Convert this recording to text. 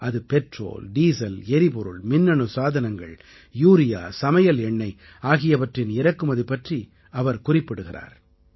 அது petrol diesel எரிபொருள் மின்னணு சாதனங்கள் யூரியா சமையல் எண்ணை ஆகியவற்றின் இறக்குமதி பற்றி இவர் குறிப்பிடுகிறார்